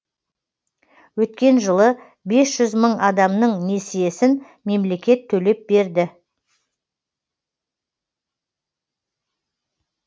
өткен жылы бес мың адамның несиесін мемлекет төлеп берді